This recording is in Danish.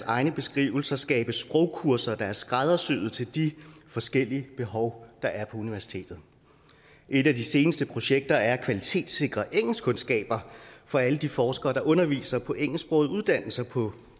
egne beskrivelser skabe sprogkurser der er skræddersyet til de forskellige behov der er på universitetet et af de seneste projekter er at kvalitetssikre engelskkundskaber for alle de forskere der underviser på engelsksprogede uddannelser på